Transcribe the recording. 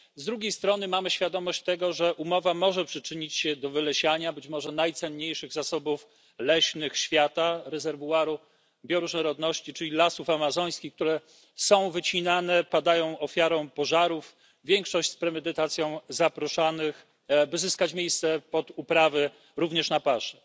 Z drugiej strony mamy świadomość tego, że umowa może przyczynić się do wylesiania być może najcenniejszych zasobów leśnych świata, rezerwuaru bioróżnorodności, czyli lasów amazońskich, które są wycinane, padają ofiarą pożarów, w większości z premedytacją zaprószanych, by zyskać miejsce pod uprawy, również na paszę.